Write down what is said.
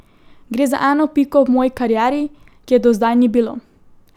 Gre za eno piko v moji karieri, ki je do zdaj ni bilo.